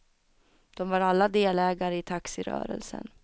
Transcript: De var alla delägare i taxirörelsen.